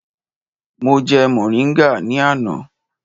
Mo jẹ mọ̀ríngà ní àná.